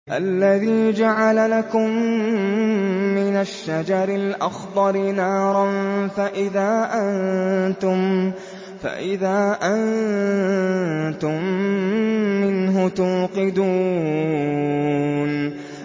الَّذِي جَعَلَ لَكُم مِّنَ الشَّجَرِ الْأَخْضَرِ نَارًا فَإِذَا أَنتُم مِّنْهُ تُوقِدُونَ